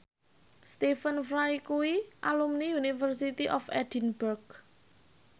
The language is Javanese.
Stephen Fry kuwi alumni University of Edinburgh